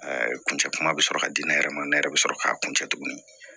kuncɛ kuma bɛ sɔrɔ ka di ne yɛrɛ ma ne yɛrɛ bɛ sɔrɔ k'a kun cɛ tuguni